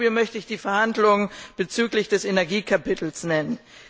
Als Beispiel möchte ich die Verhandlungen bezüglich des Energiekapitels nennen.